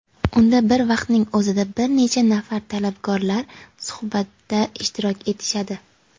unda bir vaqtning o‘zida bir necha nafar talabgorlar suhbatda ishtirok etishadi.